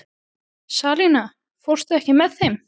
Salína, ekki fórstu með þeim?